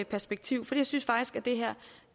perspektiv for jeg synes faktisk at det her